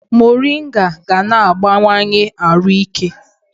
Morịnga ga na-agbanwanye arụ ike